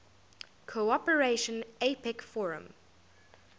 cooperation apec forum